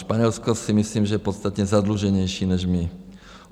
Španělsko, si myslím, že je podstatně zadluženější než my.